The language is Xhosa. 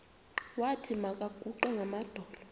wathi makaguqe ngamadolo